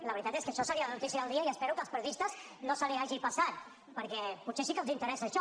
la veritat és que això seria la notícia del dia i espero que als periodistes no se’ls hagi passat perquè potser sí que els interessa això